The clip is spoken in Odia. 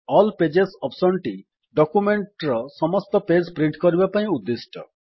ଆଲ୍ ପେଜେସ୍ ଅପ୍ସନ୍ ଟି ଡକ୍ୟୁମେଣ୍ଟ୍ ର ସମସ୍ତ ପେଜ୍ ପ୍ରିଣ୍ଟ୍ କରିବା ପାଇଁ ଉଦ୍ଦିଷ୍ଟ